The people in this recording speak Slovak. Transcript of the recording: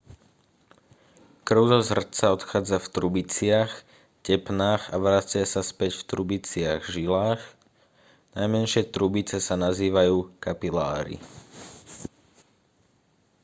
krv zo srdca odchádza v trubiciach tepnách a vracia sa späť v trubiciach žilách najmenšie trubice sa nazývajú kapiláry